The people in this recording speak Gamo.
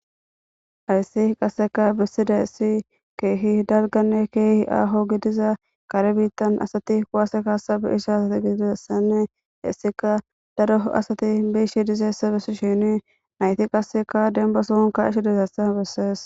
ayssi qasseka bissida issi keehi dalganne keehi aaho gidiza kare biittan asati kuwase kaasabe isha asati giidiessanne issika daro asati biishi dizeessa bissi shini nayti qasseka demba sohunka ishi dizeessa bessees